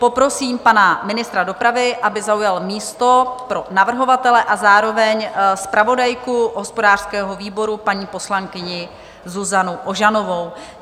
Poprosím pana ministra dopravy, aby zaujal místo pro navrhovatele, a zároveň zpravodajku hospodářského výboru, paní poslankyni Zuzanu Ožanovou.